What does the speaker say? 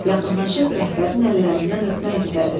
Yaxınlaşıb rəhbərin əllərindən öpmək istədi.